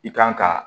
I kan ka